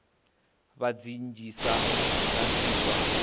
vha dzi nnzhisa dza iswa